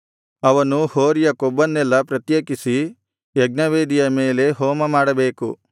ಅವನು ಹೋರಿಯ ಕೊಬ್ಬನ್ನೆಲ್ಲಾ ಪ್ರತ್ಯೇಕಿಸಿ ಯಜ್ಞವೇದಿಯ ಮೇಲೆ ಹೋಮಮಾಡಬೇಕು